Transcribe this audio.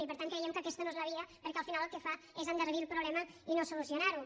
i per tant creiem que aquesta no és la via perquè al final el que fa és endarrerir el problema i no solucionar ho